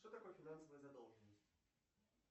что такое финансовая задолженность